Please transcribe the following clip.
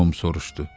Tom soruşdu.